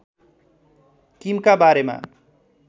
किमका बारेमा